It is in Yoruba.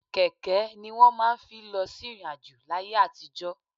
Kẹ̀kẹ́ ni wọ́n máa ń fi lọ sí ìrìn-àjò láyé àtijọ́.